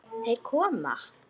Þeir koma!